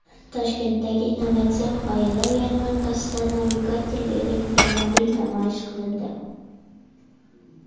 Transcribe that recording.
Toshkentdagi innovatsion g‘oyalar yarmarkasida navigatorli elektromobil namoyish qilindi.